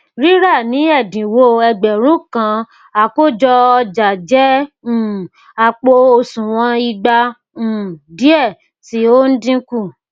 rírà ni ẹdínwó ẹgbẹrun kan àkójọ ọjà jẹ um àpò òsùnwọn ìgba um diẹ tí o n dínkù